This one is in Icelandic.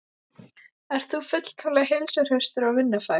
Ert þú fullkomlega heilsuhraustur og vinnufær?